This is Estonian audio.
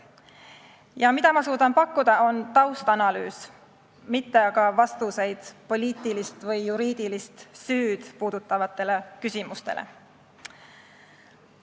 See, mida ma suudan pakkuda, on taustanalüüs, ma ei paku vastuseid poliitilist või juriidilist süüd puudutavatele küsimustele.